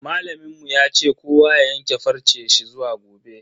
Malamin mu ya ce kowa ya yanke farce shi zuwa gobe.